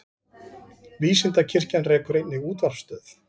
Vísindakirkjan rekur einnig útvarpsstöð.